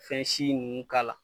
Fɛn si nunnu k'a la.